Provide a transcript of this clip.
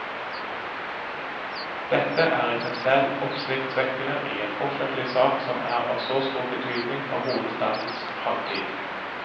Dette er i seg selv oppsiktsvekkende i en offentlig sak som er av så stor betydning for hovedstadens fremtid.